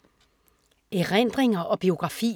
Erindringer og biografier